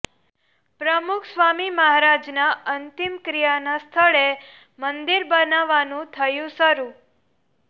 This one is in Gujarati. પ્રમુખ સ્વામી મહારાજના અંતિમ ક્રિયાના સ્થળે મંદિર બનવાનું થયું શરૂ